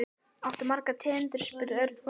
Áttu margar tegundir? spurði Örn forvitinn.